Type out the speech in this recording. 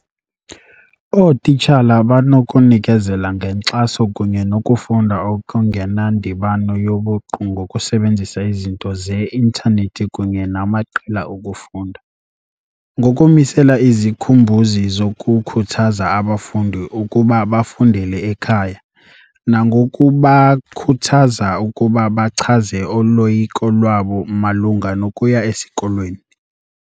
Ootitshala banokunikezela ngenkxaso kunye nokufunda okungenandibano yobuqu ngokusebenzisa izinto ze-intanethi kunye namaqela okufunda, ngokumisela izikhumbuzi zokukhuthaza abafundi ukuba bafundele ekhaya, nangokubakhuthaza ukuba bachaze uloyiko lwabo malunga nokuya esikolweni.